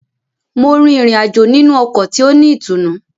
Mo rin ìrìn-àjò nínú ọkọ ti o ni ìtùnú.